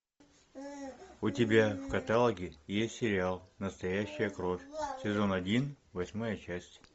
у тебя в каталоге есть сериал настоящая кровь сезон один восьмая часть